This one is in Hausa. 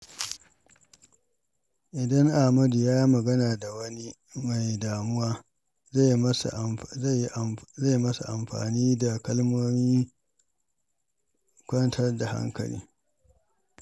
Idan Ahmad ya yi magana da wani mai damuwa, zai yi masa amfani da kalmomin kwantar da hankali.